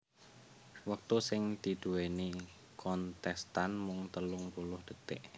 Wektu sing diduwèni kontèstan mung telung puluh dhetik